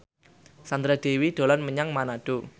Sandra Dewi dolan menyang Manado